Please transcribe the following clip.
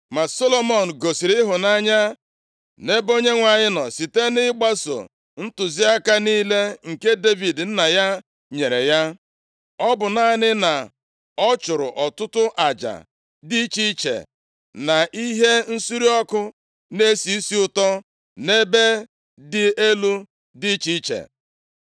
Ma Solomọn gosiri ịhụnanya nʼebe Onyenwe anyị nọ, site na ịgbaso ntụziaka niile nke Devid nna ya nyere ya, ọ bụ naanị na ọ chụrụ ọtụtụ aja dị iche iche, na ihe nsure ọkụ na-esi isi ụtọ nʼebe dị elu dị iche iche.